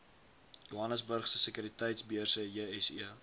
johannesburgse sekuriteitebeurs jse